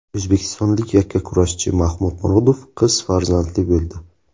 O‘zbekistonlik yakkakurashchi Mahmud Murodov qiz farzandli bo‘ldi.